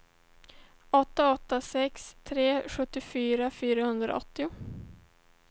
åtta åtta sex tre sjuttiofyra fyrahundraåttio